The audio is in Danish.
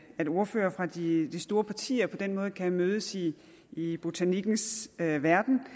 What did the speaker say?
at ordførere fra de store partier på den måde kan mødes i botanikkens verden